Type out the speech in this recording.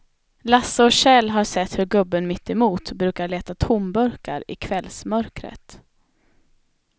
Lasse och Kjell har sett hur gubben mittemot brukar leta tomburkar i kvällsmörkret.